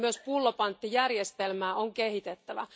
Myös pullopanttijärjestelmää on kehitettävä.